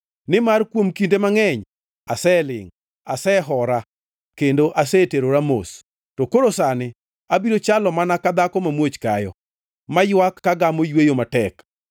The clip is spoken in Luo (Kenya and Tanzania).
Nimar kuom kinde mangʼeny aselingʼ, asehora kendo aseterora mos. To koro sani, abiro chalo mana ka dhako mamuoch kayo, maywak ka gamo yweyo matek.